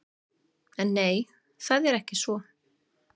En nei, það er ekki svo.